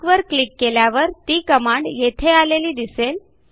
ARC वर click केल्यावर ती कमांड येथे आलेली दिसेल